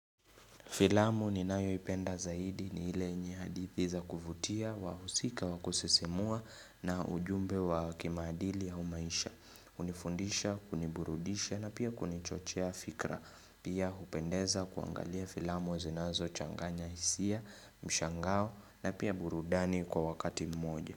Filamu ninayo ipenda zaidi ni ile yenye hadithi za kuvutia wa husika wa kusisimua na ujumbe wa kimadili au maisha. Hunifundisha, kuniburudisha na pia kunichochea fikra. Pia hupendeza kuangalia filamu zinazo changanya hisia, mshangao na pia burudani kwa wakati mmoja.